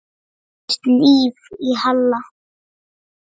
Það færðist líf í Halla.